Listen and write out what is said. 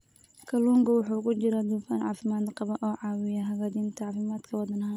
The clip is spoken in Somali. Kalluunka waxaa ku jira dufan caafimaad qaba oo caawiya hagaajinta caafimaadka wadnaha.